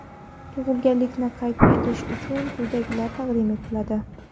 Tug‘ilganlikni qayd etish uchun quyidagilar taqdim etiladi:.